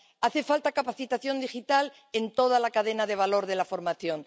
Hace falta capacitación digital en toda la cadena de valor de la formación.